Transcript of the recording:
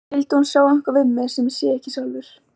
Skyldi hún sjá eitthvað við mig sem ég sé ekki sjálfur?